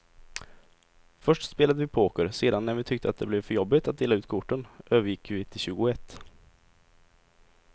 Först spelade vi poker, sedan när vi tyckte att det blev för jobbigt att dela ut korten övergick vi till tjugoett.